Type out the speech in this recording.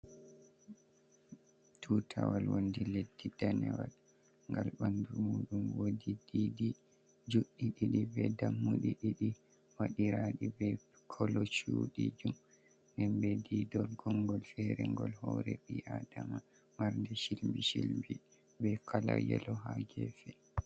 Tutawal wonɗi leɗɗi ɗanewal. Ngal ɓamɗu muɗum woɗi ɗiɗi juɗɗi ɗiɗi, ɓe ɗammuɗi ɗiɗi. Waɗiraɗi ɓe kolo cuɗijum. Ɗen ɓe ɗiɗol gongol fere ngol hore ɓi'aɗama. Marnɗe shilɓi shilɓi ɓe kala Yelo ha gefe.